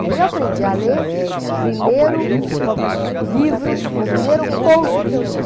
Daí eu aprendi a ler o primeiro livro, ou primeiro conto que eu li.